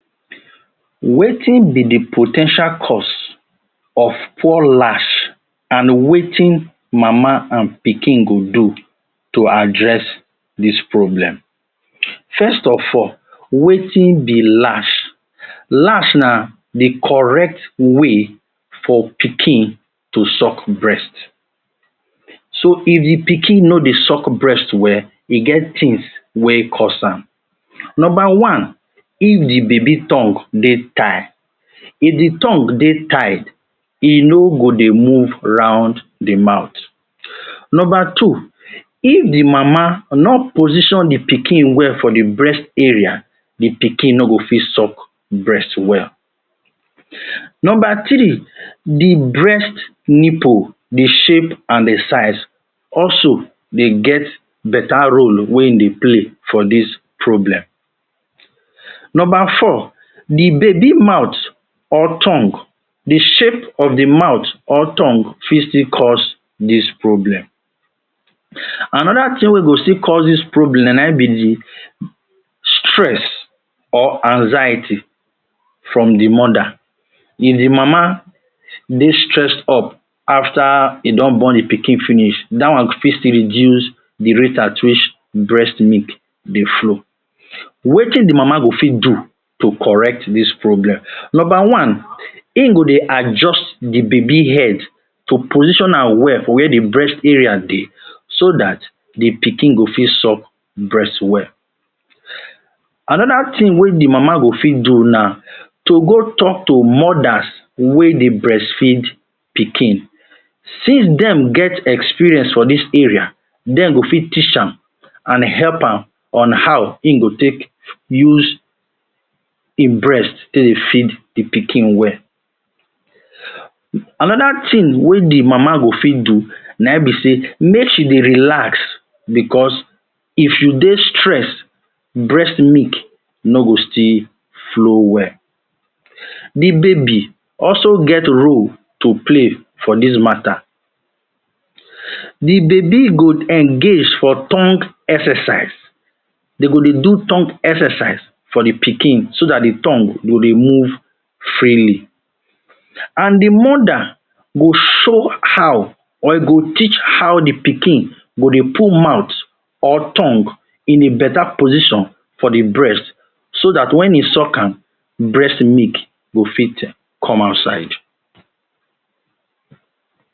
Wetin be di po ten tial cause of poor lash and wetin mama and pikin go do to address dis problem. First of all, wetin be lash? Lash na correct way for pikin to suck breast. So if di pikin no dey suck breast well e get tins wey cause am. Number one if di baby tongue dey tie, if di tongue dey tie e no go dey move round di mouth. Number two if di mama no position di pikin well for di breast area di pikin no go fit suck breast well. Number three di breast nipple di shape and di size also dey get betta role wey im dey play for dis problem. Number four di baby mouth or tongue di shape of di mouth, or tongue fit still cause dis problem. Anoda tin wey fit cause dis problem na im be di stress or anxiety from di mother. If di mama dey stress up afta e don born di pikin finish dat one fit reduce di rate at which breast milk dey flow. Wetin di mama fit do to correct dis problem? Number one, im go dey adjust di baby head to position am well wia di breast area dey so dat di pikin go fit suck breast well. Anoda tin wey di mama go fit do, na to go tok to mothers wey dey breastfeed pikin since dem get experience of dis area dem go fit teach am and help am on how im go take use im breast take dey feed di pikin well. Anoda tin wey di mama go fit do, na im be say make she dey relax bicos if you dey stress breast milk no go still flow well. Di baby also get role to play for dis matta di baby go engage for tongue exercise dem go dey do tongue exercise for di pikin so dat di tongue go dey move freely and di mother go teach how di pikin go dey put mouth or tongue in a betta position for di breast so dat wen e suck am, breast milk go fit come outside